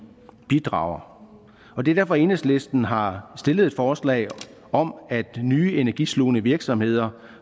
bidrager og det er derfor enhedslisten har stillet et forslag om at nye energislugende virksomheder